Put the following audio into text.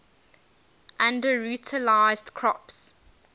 underutilized crops